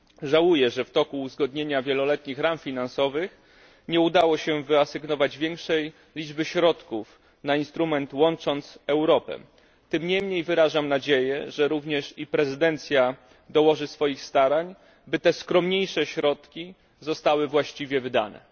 Żałuję, że w toku uzgadniania Wieloletnich Ram Finansowych nie udało się wyasygnować większej liczby środków na instrument Łącząc Europę. Tym niemniej wyrażam nadzieję, że również i prezydencja dołoży swoich starań, by te skromniejsze środki zostały właściwie wydane.